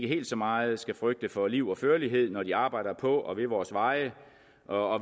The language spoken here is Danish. helt så meget skal frygte for liv og førlighed når de arbejder på og ved vores veje og